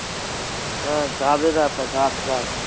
হ্যাঁ গাদের আঠা গাদ গাদ